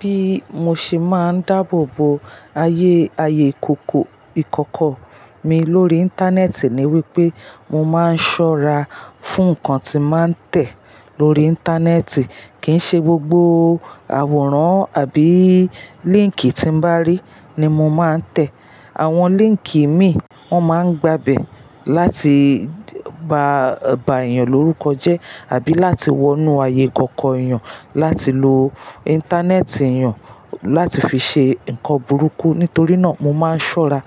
Bí mo ṣe máa ń dáàbò bo ayé, ayé ìkòkò ìkọ́kọ mi lórí Íńtánẹ́ẹ̀tì ni wípé mo máa ń ṣọ́ra fún nǹkan tí màá ń tẹ̀ lórí Íńtánẹ́ẹ̀tì. Kìí ṣe gbogbo àwòrán àbí líńkì tí mo bá rí ni mo máa ń tẹ̀. Àwọn líńkì ìmi wọ́n máa ń gba bẹ̀ láti ba, ba èèyàn lórúkọ jẹ́ àbí láti wọnú ayé ìkọ̀kọ̀ èèyàn láti lo Íńtánẹ́ẹ̀tì èèyàn láti fi ṣe nǹkan burúkú. Nítorí náà mo máa ń ṣọ́ra